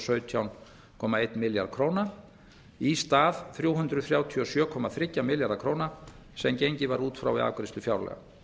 sautján komma einn milljarð króna í stað þrjú hundruð þrjátíu og sjö komma þrjá milljarða króna sem gengið var út frá við afgreiðslu fjárlaga